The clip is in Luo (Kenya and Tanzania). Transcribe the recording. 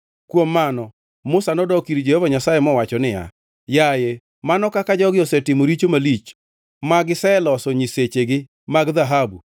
Kuom mano Musa nodok ir Jehova Nyasaye mowacho niya, “Yaye, mano kaka jogi osetimo richo malich, ma giseloso nyisechegi mag dhahabu.